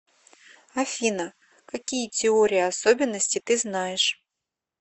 афина какие теория особенностей ты знаешь